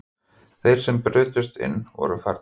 Þeir sem brutust inn voru farnir